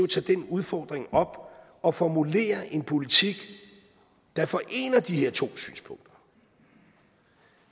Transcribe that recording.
tage den udfordring op og formulere en politik der forener de her to synspunkter